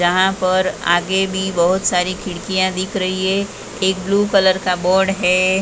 जहाँ पर आगे भी बहुत सारी खिड़कियाँ दिख रही हैं एक ब्लू कलर का बोर्ड हैं ।